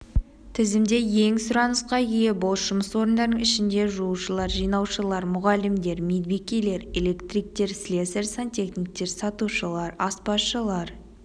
тізімде ең сұранысқа ие бос жұмыс орындарының ішінде жуушылар жинаушылар мұғалімдер медбикелер электриктер слесарь-сантехниктер сатушылар аспазшылар